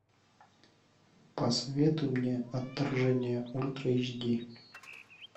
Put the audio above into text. посоветуй мне отторжение ультра эш ди